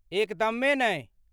एकदमे नहि!